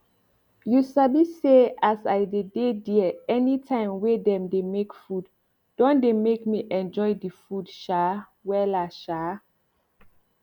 you sabi say as i dey dey there anytime wey dem dey make food don dey make me enjoy the food um wella um